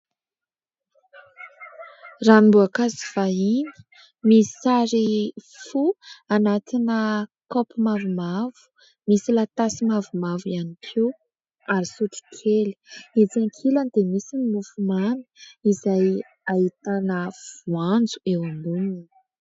Ranom-boankazo vahiny misy sary fo anatina kaopy mavomavo, misy latasy mavomavo ihany koa ary sotro kely. Etsy ankilany dia misy mofo mamy izay ahitana voanjo eo amboniny.